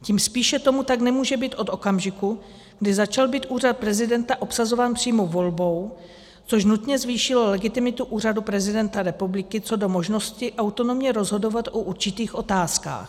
Tím spíše tomu tak nemůže být od okamžiku, kdy začal být úřad prezidenta obsazován přímou volbou, což nutně zvýšilo legitimitu úřadu prezidenta republiky co do možnosti autonomně rozhodovat o určitých otázkách.